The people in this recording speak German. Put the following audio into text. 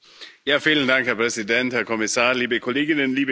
Herr Präsident, Herr Kommissar, liebe Kolleginnen, liebe Kollegen!